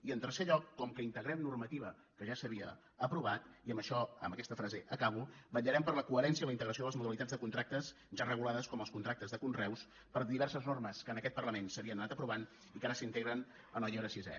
i en tercer lloc com que integrem normativa que ja s’havia aprovat i amb això amb aquesta frase acabo vetllarem per la coherència i la integració de les modalitats de contractes ja regulades com els contractes de conreus per diverses normes que en aquest parlament s’havien anat aprovant i que ara s’integren en el llibre sisè